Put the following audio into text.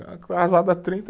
Casado há trinta